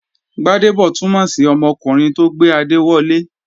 Gbádébọ̀ túnmọ̀ sí ọmọkùnrin tó gbé adé wọlé